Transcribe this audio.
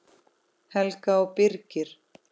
Helga og Birgir.